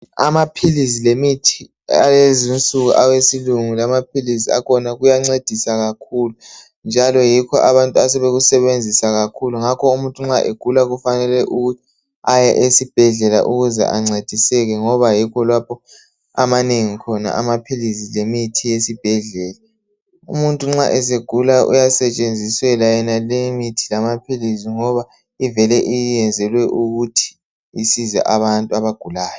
amaphilisi lemithi alezinsuku awesilungu amaphilizi akhona kuyancedisa kakhulu njalo yikho abantu asebekusebenzisa kakhulu ngakho umutnu nxa egula kufanele ukuthi aye esibhedlela ukuze ancediseke ngoba yikho lapho amanengi khona amaphilisi lemithi yesibhedlela umuntu nxa esegula uyasetshenziselwa yonaleyi imithi lamaphilisi ngoba ivele iyenzelwe ukuthi isize abantu abagulayo